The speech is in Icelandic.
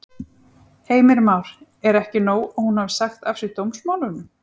Heimir Már: Er ekki nóg að hún hafi sagt af sér dómsmálunum?